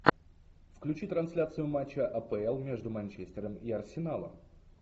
включи трансляцию матча апл между манчестером и арсеналом